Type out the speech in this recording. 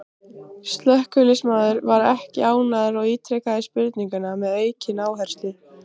Slökkviliðsmaðurinn var ekki ánægður og ítrekaði spurninguna með aukinn áherslu.